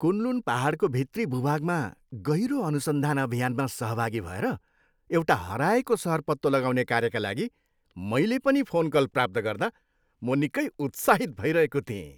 Kunlun पाहाडको भित्री भूभागमा गहिरो अनुसन्धान अभियानमा सहभागी भएर एउटा हराएको सहर पत्तो लगाउने कार्यका लागि मैले पनि फोनकल प्राप्त गर्दा म निकै उत्साहित भइरहेको थिएँ।